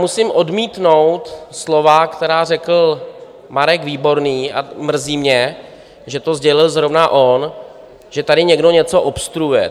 Musím odmítnout slova, která řekl Marek Výborný - a mrzí mě, že to sdělil zrovna on - že tady někdo něco obstruuje.